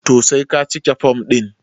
to sai ka cike form din